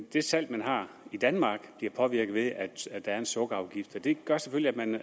det salg man har i danmark bliver påvirket af at der er en sukkerafgift og det gør selvfølgelig at man